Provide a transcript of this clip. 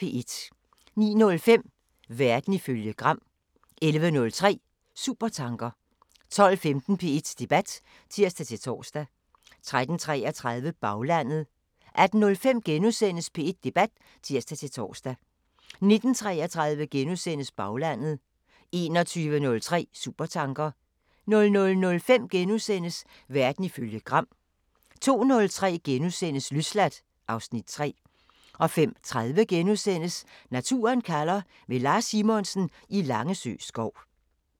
09:05: Verden ifølge Gram 11:03: Supertanker 12:15: P1 Debat (tir-tor) 13:33: Baglandet 18:05: P1 Debat *(tir-tor) 19:33: Baglandet * 21:03: Supertanker 00:05: Verden ifølge Gram * 05:03: Løsladt (Afs. 3)* 05:30: Naturen kalder – med Lars Simonsen i Langesø skov *